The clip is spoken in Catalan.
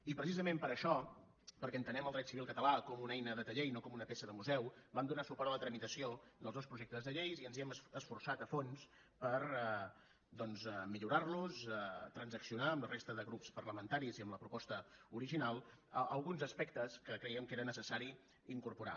i precisament per això perquè entenem el dret civil català com una eina de taller i no com una peça de museu vam donar suport a la tramitació dels dos projectes de llei i ens hi hem esforçat a fons per millorar los transaccionar amb la resta de grups parlamentaris i amb la proposta original alguns aspectes que creiem que era necessari incorporar